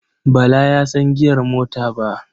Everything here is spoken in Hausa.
Bala ya san giyar mota ba.